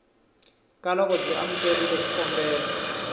ka loko byi amukerile xikombelo